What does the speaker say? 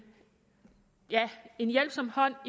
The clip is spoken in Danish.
hjælpsom hånd